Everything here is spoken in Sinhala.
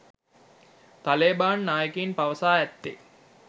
ත‍ලේබාන් නායකයින් පවසා ඇත්තේ